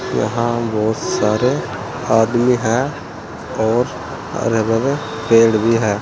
यहां बहोत सारे आदमी है और हरे भरे पेड़ भी हैं।